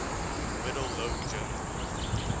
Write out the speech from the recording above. middle low german